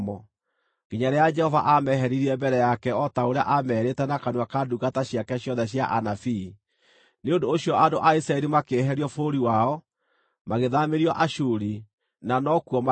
nginya rĩrĩa Jehova aameheririe mbere yake o ta ũrĩa aamerĩte na kanua ka ndungata ciake ciothe cia anabii. Nĩ ũndũ ũcio andũ a Isiraeli makĩeherio bũrũri wao, magĩthaamĩrio Ashuri, na no kuo marĩ.